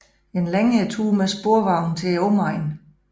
En længere tur med sporvogn til omegnen